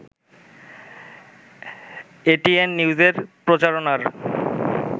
ATN নিউজের প্রচারণার